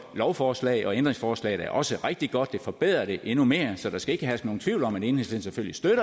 lovforslag og ændringsforslaget er også rigtig godt det forbedrer det endnu mere så der skal ikke herske nogen tvivl om at enhedslisten